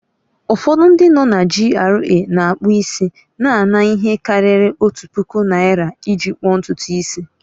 Ufọdụ ndị no na GRA na-akpụ isi na-ana ihe karịrị otu puku naira iji kpuo ntutu isi